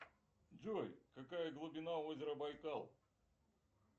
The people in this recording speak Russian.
джой какая глубина озера байкал